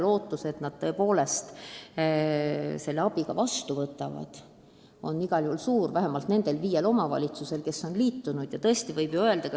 Lootus, et nad selle abi ka vastu võtavad, on igal juhul suur, vähemalt nendes viies omavalitsuses, kes on programmiga liitunud.